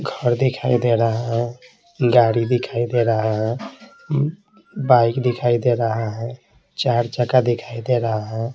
घर दिखाई दे रहा है गाड़ी दिखाई दे रहा है बाइक दिखाई दे रहा है चार चका दिखाई दे रहा है।